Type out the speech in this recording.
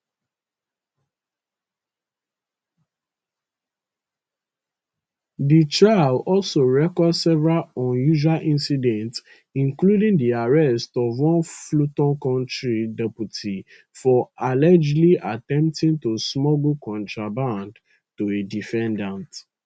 di trial also record several unusual incidents including di arrest of one fulton county deputy for allegedly attempting to smuggle contraband to a defendant